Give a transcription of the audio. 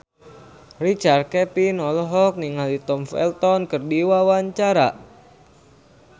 Richard Kevin olohok ningali Tom Felton keur diwawancara